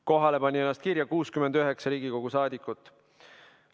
Kohalolijaks märkis ennast 69 Riigikogu saadikut.